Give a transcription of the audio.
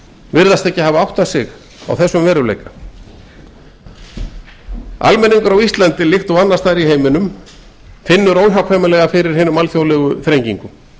virðast ekki átta sig á þessum veruleika almenningur á íslandi líkt og annars staðar í heiminum finnur óhjákvæmilega fyrir hinum alþjóðlegu þrengingum